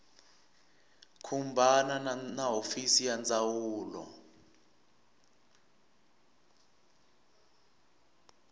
khumbana na hofisi ya ndzawulo